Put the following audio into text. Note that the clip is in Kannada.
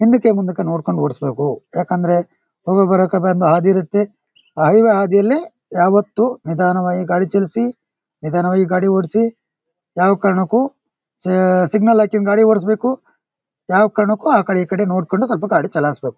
ಹಿಂದಕ್ಕೆ ಮುಂದಕ್ಕೆ ನೋಡ್ಕೊಂಡ್ ಓಡ್ಸ ಬೇಕು ಯಾಕಂದ್ರೆ ಹೈವೇ ಬರಕ್ಕೆ ಒಂದ್ ಹಾದಿ ಇರತ್ತೆ ಆ ಹೈವೇ ಹಾದಿಲಿ ಯಾವತ್ತೂ ನಿಧಾನವಾಗಿ ಗಾಡಿ ಚಲಿಸಿ ನಿಧಾನವಾಗಿ ಗಾಡಿ ಓಡಿಸಿ. ಯಾವ್ ಕಾರಣಕ್ಕೂ ಯೇ ಸಿಗ್ನೆಲ್ ಹಾಕೊಂಡ್ ಗಾಡಿ ಓಡ್ಸ ಬೇಕು ಯಾವ್ ಕಾರಣಕ್ಕೂ ಆಕಡೆ ಈಕಡೆ ನೋಡ್ಕೊಂಡ್ ಸ್ವಲ್ಪ ಗಾಡಿ ಚಲಾಯಿಸ್ ಬೇಕು.